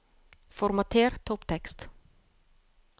Formater topptekst